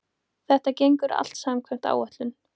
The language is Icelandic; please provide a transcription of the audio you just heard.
Þetta gengur allt samkvæmt áætlun